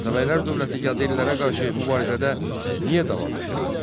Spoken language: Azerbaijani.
Atabəylər dövləti Yadellərə qarşı mübarizədə niyə davam gətirmədi?